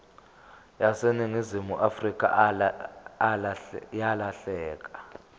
yaseningizimu afrika yalahleka